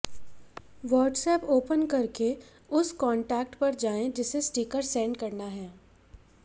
WhatsApp open करके उस contact पर जाएं जिसे स्टीकर सेंड करना है